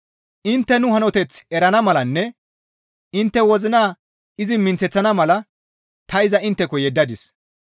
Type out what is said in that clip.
Intte nu hanoteth erana malanne intte wozina izi minththeththana mala ta iza intteko yeddadis.